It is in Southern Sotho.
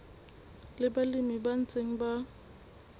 le balemi ba ntseng ba